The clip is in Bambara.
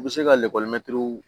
U bɛ se ka